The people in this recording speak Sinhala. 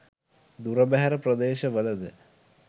දුර බැහැර ප්‍රදේශවලද